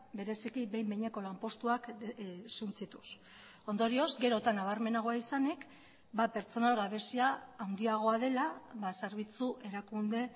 bereziki behin behineko lanpostuak suntsituz ondorioz gero eta nabarmenagoa izanik pertsonal gabezia handiagoa dela zerbitzu erakunde